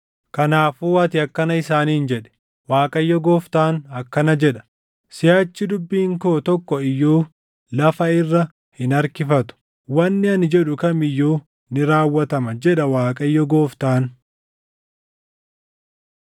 “Kanaafuu ati akkana isaaniin jedhi; ‘ Waaqayyo Gooftaan akkana jedha: Siʼachi dubbiin koo tokko iyyuu lafa irra hin harkifatu; wanni ani jedhu kam iyyuu ni raawwatama, jedha Waaqayyo Gooftaan.’ ”